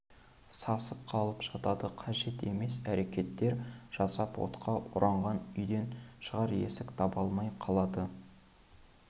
сасып қалып жатады қажет емес әрекеттер жасап отқа оранған үйден шығар есік таба алмай қалады